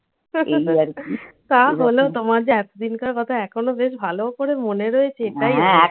তা হলো তোমার যে এতদিনকার কথা এখনো বেশ ভালো করে মনে রয়েছে এটাই